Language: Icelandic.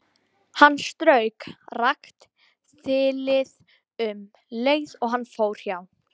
Hann strauk rakt þilið um leið og hann fór hjá.